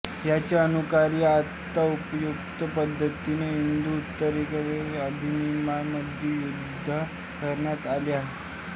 याचे अनुकरण आता उपर्युक्त पद्धतीने हिंदू उत्तराधिकार अधिनियमामध्येसुद्धा करण्यात आले आहे